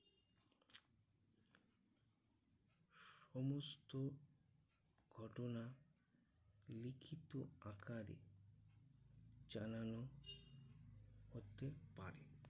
সমস্ত ঘটনা লিখিত আকারে জানানো হতে পারে।